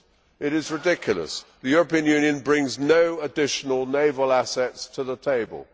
It is ridiculous. The European Union brings no additional naval assets to the table.